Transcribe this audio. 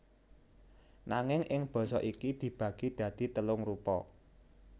Nanging ing basa iki dibagi dadi telung rupa